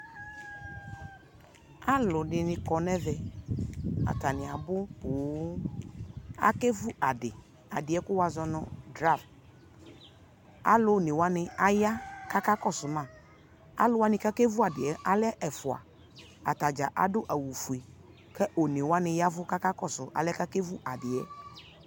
Aludini kɔnu ɛvɛ atani abʊ poo akevʊ adi kʊ wazɔ nu draft alu onewa aya kakakɔsuma aluwani kakevʊ adɩ alɛ ɛfʊa atadza adu awu fue kʊ onewani yavu kakakɔsu alɛ kakevu adi yɛ